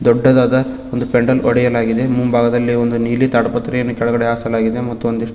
ದೊಡ್ಡದಾದ ಒಂದು ಪೆಂಡಾಲ್ ಒಡೆಯಲಾಗಿದೆ ಮುಂಭಾಗದಲ್ಲಿ ಒಂದು ನೀಲಿ ತಾಡ್ಪತ್ರೆಯನ್ನು ಕೆಳಗಡೆ ಹಾಸಲಾಗಿದೆ ಮತ್ತು ಒಂದಿಷ್ಟು--